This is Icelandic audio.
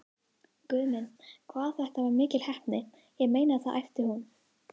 Guð minn, hvað þetta var mikil heppni, ég meina það æpti hún.